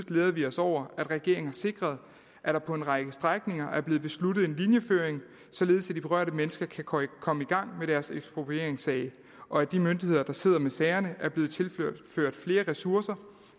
glæder vi os over at regeringen har sikret at der på en række strækninger er blevet besluttet en linjeføring således at de berørte mennesker kan komme komme i gang med deres eksproprieringssag og at de myndigheder der sidder med sagerne er blevet tilført flere ressourcer